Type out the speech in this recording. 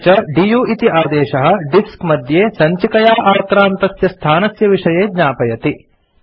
अपि च दु इति आदेशः डिस्क मध्ये सञ्चिकया आक्रान्तस्य स्थानस्य विषये ज्ञापयति